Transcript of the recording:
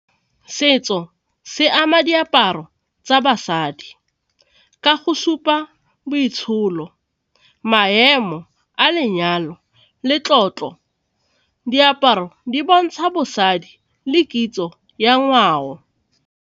Setso se ama diaparo tsa basadi ka go supa boitsholo, maemo a lenyalo le tlotlo, diaparo di bontsha bosadi le kitso ya ngwao.